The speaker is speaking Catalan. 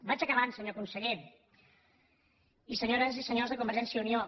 vaig acabant senyor conseller i senyores i senyors de convergència i unió